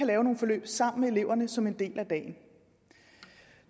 lave nogle forløb sammen med eleverne som en del af dagen